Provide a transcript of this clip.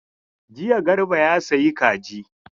Jiya Garba ya sayi kaji.